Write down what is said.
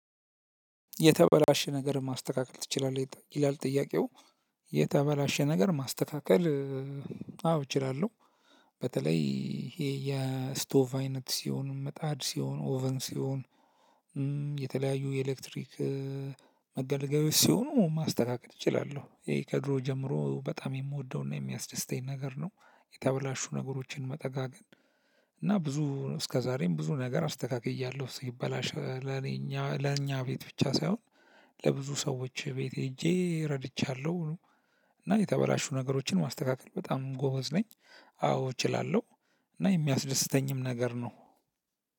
የተበላሸ ነገር ማስተካከል ትችላለህ ይላል ጥያቄው? የተበላሸ ነገር ማስተካከል እ አዎ እችላለሁ። በተለይ ይሄ የስቶቭ አይነት ሲሆን ምጣድ ሲሆን ኦቨን ሲሆን እ። የተለያዩ የኤሌክትሪክ እ መገለገያዎች ሲሆኑ ማስተካከል እችላለሁ ይሄ ከድሮ ጀምሮ በጣም የምወደውና የሚያስደስተኝ ነገር ነው። የተበላሹ ነገሮችን መጠጋገን። እና ብዙ እስከዛሬም ብዙ ነገር አስተካክያለሁ ሲበላሽ ለኔ ለኛ ቤት ብቻ ሳይሆን ለብዙ ሰዎች ቤት ሄጄ ረድቻለሁ። እና የተበላሹ ነገሮችን ማስተካከል በጣም ጎበዝ ነኝ። አዎ እችላለሁ። እና የሚያስደስተኝም ነገር ነው።